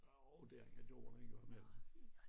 Jo det er den gjort en gang imellem